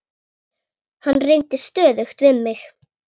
Hann reyndi stöðugt við mig.